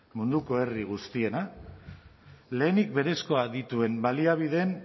munduko herri guztiena lehenik berezkoa dituen baliabideen